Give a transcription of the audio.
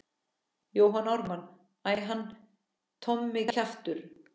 Jón Ármann:- Æ, hann Tommi kjaftur.